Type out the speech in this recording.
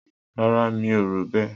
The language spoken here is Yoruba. Rara, mí ò ró bẹ.